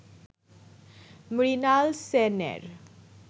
মৃনাল সেনের